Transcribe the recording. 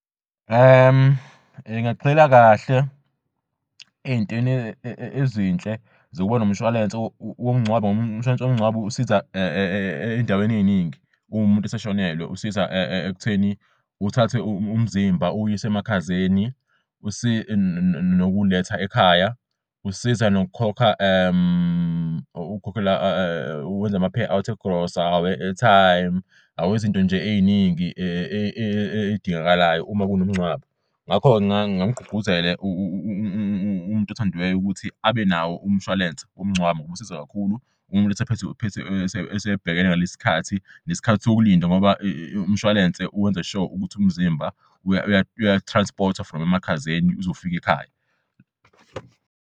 Ngingagxila kahle ezintweni ezinhle zokuba nomshwalensi womngcwabo ngob'mshwalense womngcwabo usiza ey'ndaweni ey'ningi umumuntu eseshonelwe usiza ekutheni uthathe umzimba uwuy's'emakhazeni futhi nokuw'letha ekhaya. Usiza ukwenza ama-payouts egrosa, awe-airtime awezinto nje ey'ningi ey'dingakalayo uma kunomngcwabo. Ngakho ngingamgqugquzela umuntu othandiweyo ukuthi abenawo umshwalense womngcwabo ngoba usiza kakhulu uma umuntu esebhekene nalesi sikhathi nesikhathi sokulinda ngoba umshwalense wenza-sure ukuthi umzimba uya-transport-thwa from emakhazeni uzufik'ekhaya.